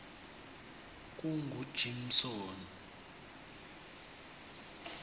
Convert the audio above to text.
kungujimsoni